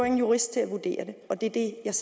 en jurist til at vurdere det og det er det jeg